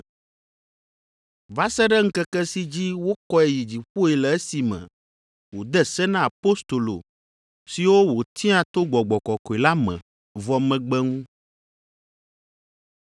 va se ɖe ŋkeke si dzi wokɔe yi dziƒoe le esime wòde se na Apostolo siwo wòtia to Gbɔgbɔ Kɔkɔe la me vɔ megbe ŋu.